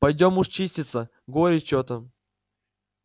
пойдём уж чиститься горе чьё то